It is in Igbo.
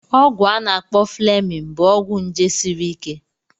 Ọgwụ a na-akpọ Fleming bụ ọgwụ nje sịrị ike.